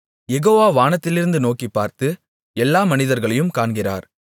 யெகோவா வானத்திலிருந்து நோக்கிப்பார்த்து எல்லா மனிதர்களையும் காண்கிறார்